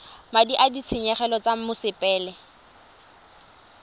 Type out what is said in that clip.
madi a ditshenyegelo tsa mosepele